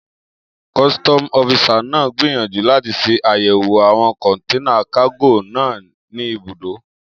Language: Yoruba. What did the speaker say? Kọ́sítọ́mù ọ́fisà náà gbìyànjú láti ṣe àyẹ̀wò àwọn kọ̀nténà kágò náà ní ibùdó